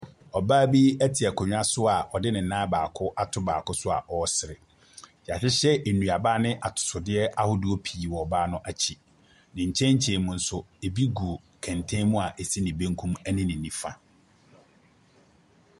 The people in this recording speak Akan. Ɔbaa bi te akonnwa so a ɔde ne nan baako ato baako so a ɔresere. Wɔahyehyɛ nnuaba ne atotosodeɛ ahodoɔ pii wɔ ɔbaa no akyi. Ne nkyɛnkyɛmmu nso ɛbi gu kɛntɛn mu a ɛsi ne benkum ne ne nifa.